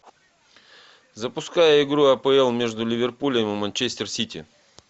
запускай игру апл между ливерпулем и манчестер сити